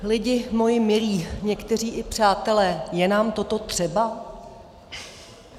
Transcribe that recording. Lidi moji milí, někteří i přátelé, je nám toto třeba?